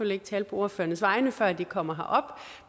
ikke tale på ordførernes vegne før de kommer herop